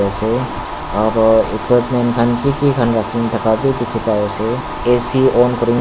ase equipment khan ki ki khan rakhikena thaka bi dikhi pai ase ac on kuri--